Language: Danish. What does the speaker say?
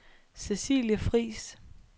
Cecilie Friis